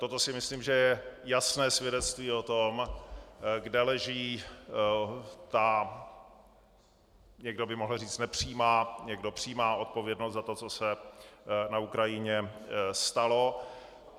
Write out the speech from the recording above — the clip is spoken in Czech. Toto si myslím, že je jasné svědectví o tom, kde leží ta někdo by mohl říct nepřímá, někdo přímá odpovědnost za to, co se na Ukrajině stalo.